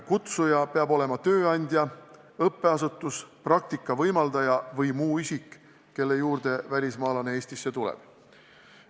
Kutsuja peab olema tööandja, õppeasutus, praktika võimaldaja või muu isik, kelle juurde välismaalane Eestis tuleb.